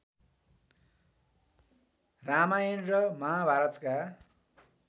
रामायण र महाभारतका